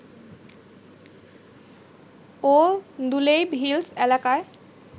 ও দুলেইব হিলস এলাকায়